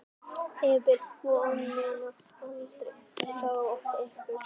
Gefum vonina aldrei frá okkur.